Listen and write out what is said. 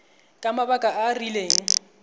ka mabaka a a rileng